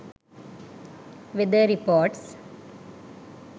weather reports